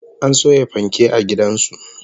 An soya fanke a gidan su